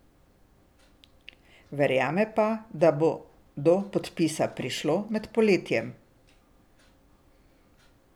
Verjame pa, da bo do podpisa prišlo med poletjem.